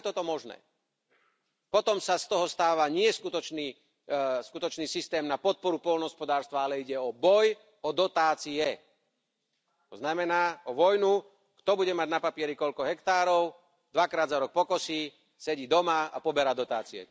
Ako je toto možné? Potom sa z toho stáva nie skutočný systém na podporu poľnohospodárstva, ale ide o boj o dotácie, to znamená o vojnu, kto bude mať na papieri koľko hektárov, dvakrát za rok pokosí, sedí doma a poberá dotácie.